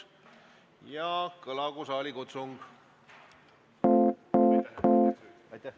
Ja kõlagu saalikutsung!